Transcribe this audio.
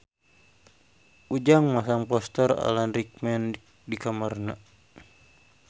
Ujang masang poster Alan Rickman di kamarna